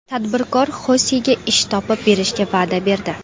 Tadbirkor Xosega ish topib berishga va’da berdi.